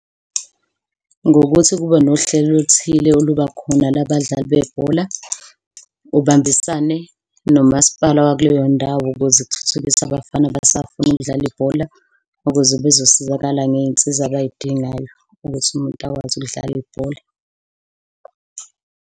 Ngokuthi kube nohlelo oluthile olubakhona la badlali bebhola, ubambisane nomasipala wakuleyondawo ukuze kuthuthukiswe abafana abasafuna ukudlala ibhola, ukuze bezosizakala ngey'nsiza abay'dingayo ukuthi umuntu akwazi ukudlala ibhola.